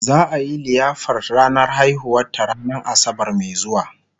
za'a Yi liyafar ranar haihuwar ta ranan asabar Mai zuwa